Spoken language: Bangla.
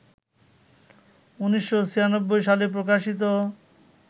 ১৯৯৬ সালে প্রকাশিত